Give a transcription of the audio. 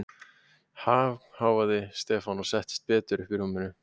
Ha?! hváði Stefán og settist betur upp í rúminu.